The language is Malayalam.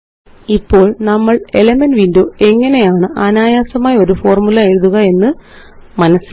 ഇപ്പോള് നമ്മള് എലിമെന്റ്സ് വിൻഡോ എങ്ങനെയാണ് അനായാസമായി ഒരു ഫോര്മുല എഴുതുക എന്ന് മനസ്സിലാക്കി